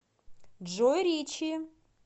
джой ричи